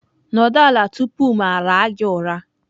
Nọdụ ala tupu m ara gị ụra!